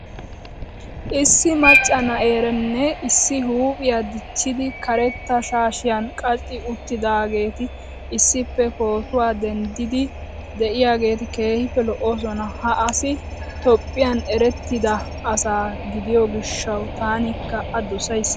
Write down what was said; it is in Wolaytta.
Issi macca na'eeranne issi huuphiya dichchidi karetta shaashiyan qaci uttidaageeti issippe pootuwa denddiiddi de'iyageeti keehippe lo"oosona. Ha asi Toophphiyan erettida asa gidiyo gishshawu tankka A dosays.